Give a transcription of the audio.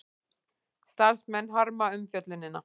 Starfsmenn harma umfjöllunina